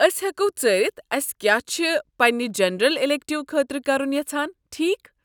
أسۍ ہٮ۪کو ژٲرتھ أسۍ کیاہ چھِ پننہِ جنرل ایٚلیکٹو خٲطرٕ کرُن یژھان، ٹھیکھ؟